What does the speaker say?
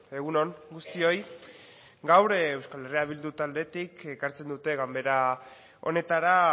egun on guztioi gaur euskal herria bildu taldetik ekartzen dute ganbera honetara